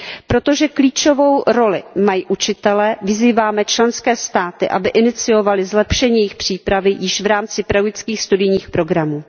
Protože klíčovou roli mají učitelé, vyzýváme členské státy, aby iniciovaly zlepšení jejich přípravy již v rámci pedagogických studijních programů.